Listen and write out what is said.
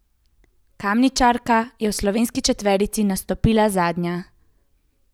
Kamničanka je v slovenski četverici nastopila zadnja.